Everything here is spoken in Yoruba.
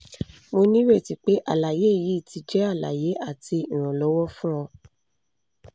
mo nireti pe alaye yii ti jẹ alaye ati iranlọwọ fun ọ